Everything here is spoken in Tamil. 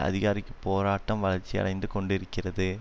அதிகாரிக்குப் போராட்டம் வளர்ச்சியடைந்து கொண்டிருக்கிறது